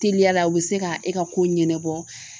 Teliyala u bɛ se ka e ka kow ɲɛnabɔ